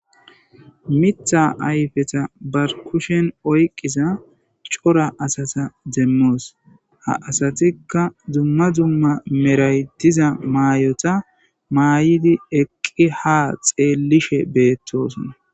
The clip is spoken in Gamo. Mita ayippeta ba kushen oyqiza cora asata demos ha asatika dumma dumma meray diza mayota mayidi ha xellishe betosona.